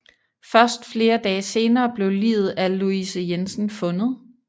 Først flere dage senere blev liget af Louise Jensen fundet